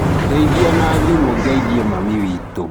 ndeithia na thĩmũ ngeithie Mami witũ.